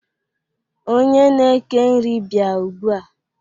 Onye na-eke nri bịa ugbua!